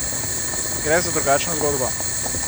Gre za drugačno zgodbo!